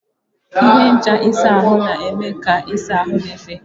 Ihe ncha ịsa ahụ na-eme ka ịsa ahụ dị mfe.